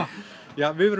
við verðum